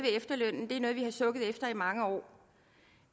efterlønnen det er noget vi har sukket efter i mange år